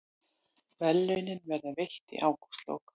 Verðlaunin verða veitt í ágústlok